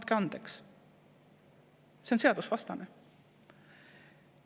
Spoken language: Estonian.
Andke andeks, see on seadusevastane!